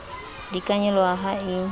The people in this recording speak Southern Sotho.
di ka nyoloha ha e